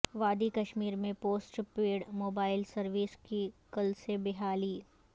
وادی کشمیر میں پوسٹ پیڈ موبائیل سرویس کی کل سے بحالی